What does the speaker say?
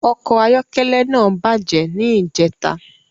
Ọkọ ayọkẹlẹ náà bàjẹ́ ni ìjẹta